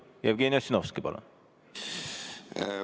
Jevgeni Ossinovski, palun!